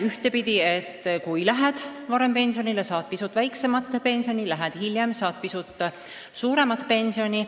Ühtepidi, kui sa lähed varem pensionile, siis saad sa pisut väiksemat pensioni, lähed hiljem, saad pisut suuremat pensioni.